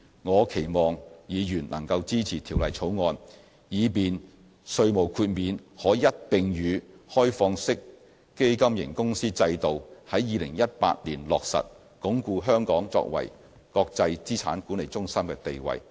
我期望議員能夠支持《條例草案》，以便稅務豁免可在2018年與開放式基金型公司制度一併落實，鞏固香港作為國際資產管理中心的地位。